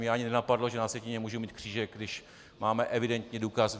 Mě ani nenapadlo, že na sjetině můžu mít křížek, když máme evidentně důkaz.